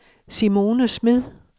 Simone Smed